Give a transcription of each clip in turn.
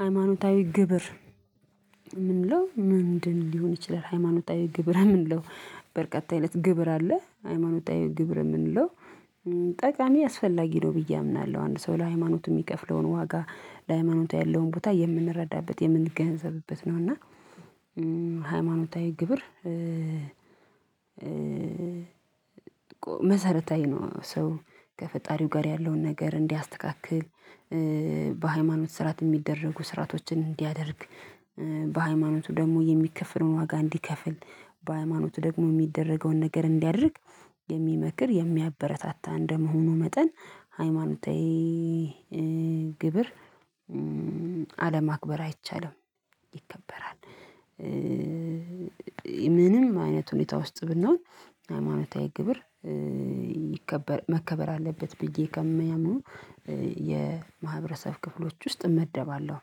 ሃይማኖታዊ ግብር ምንለው ምንድን ሊሆን ይችላል? ሃይማኖታዊ ግብር ምንለው በርካታ አይነት ግብር አለ። ሃይማኖታዊ ግብር የምንለው ጠቃሚ አስፈላጊ ነው ብዬ አምናለሁ አንድ ሰው ለሃይማኖቱ የሚከፍለውን ዋጋ ለሃይማኖት ያለውን ቦታ የምንረዳበት የምንገንዘብበት ነው እና ሃይማኖታዊ ግብር መሰረታዊ ነው። ሰው ከፈጣሪው ጋር ያለውን ነገር እንዲያስተካክል በሃይማኖት ስራት የሚደረጉ ስራቶችን እንዲያደርግ በሃይማኖቱ ደግሞ የሚከፍለውን ዋጋ እንዲከፍል በሃይማኖቱ ደግሞ የሚደረገውን ነገር እንዲያድርግ የሚመክር፤ የሚያበረታታ እንደመሆኑ መጠን ሃይማኖታዊ ግብር አለማክበር አይቻልም ይከበራል። ምንም አይነት ሁኔታ ውስጥ ብናውቅ ሃይማኖታዊ ግብር መከበር አለበት ብዬ ከሚያምኑ የማህበረሰብ ክፍሎች ውስጥ እመደባለሁ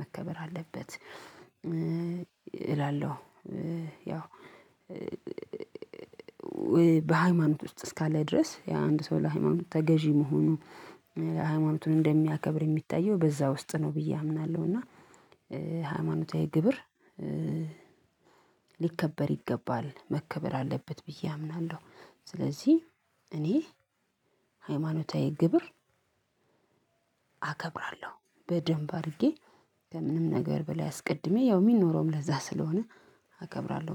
መከበር አለበት እላለሁ ያው በሃይማኖት ውስጥ እስካለ ድረስ የአንድ ሰው ለሃይማኖት ተገዢ መሆኑ ለሃይማኖቱን እንደሚያከብር የሚታየው በዛ ውስጥ ነው ብዬ አምናለሁ እና ሃይማኖታዊ ግብር ሊከበር ይገባል መከበር አለበት ብዬ አምናለሁ። ስለዚህ እኔ ሃይማኖታዊ ግብር አከብራለሁ በደንብ አድርጌ። ከምንም ነገር በላይ አስቀድሜ ያው ሚኖረውም ለዛ ስለሆነ አከብራለሁ